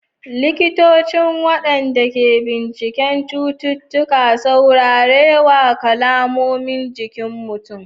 Likitocin, waɗanda ke bincikar cututtuka, saurare wa kalmomin jikin mutum.